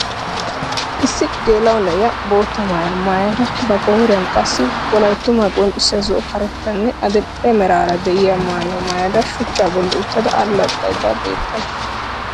Issi geela'o na'iya bootta maayuwa maayada ba qooriyan qassi wolayttumaa qonccissiya zo'o karettanne adil'e meraara diya maayuwaa maayada shuchchaa bolli uttada allaxaydda beettawusu.